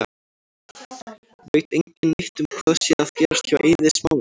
Veit engin neitt um hvað sé að gerast hjá Eiði Smára?